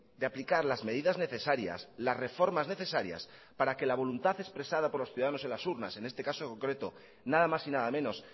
de aplicar las medidas necesarias las reformas necesarias para que la voluntad expresada por los ciudadanos en las urnas en este caso concreto nada más y nada menos